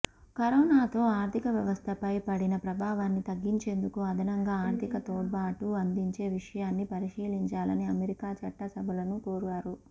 కరోనాతో ఆర్థిక వ్యవస్థపై పడిన ప్రభావాన్ని తగ్గించేందుకు అదనంగా ఆర్థిక తోడ్పాటు అందించే విషయాన్ని పరిశీలించాలని అమెరికా చట్టసభలను కోరారు